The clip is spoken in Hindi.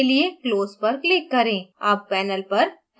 window को बंद करने के लिए close x पर click करें